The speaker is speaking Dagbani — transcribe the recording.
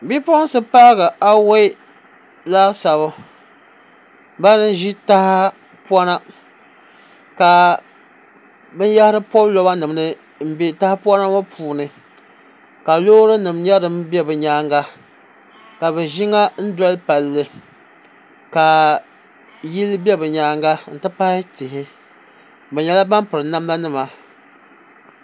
Bipuɣunsi paagi awoi laasabu bani n ʒi tahapona ka binyahari pobi loba nim ni n bɛ tahapona ŋɔ puuni ka loori nim nyɛ din bɛ bi nyaanga ka bi ʒi ŋa doli palli ka yili bɛ bi nyaanga n ti pahi tihi bi nyɛla ban piri namda nima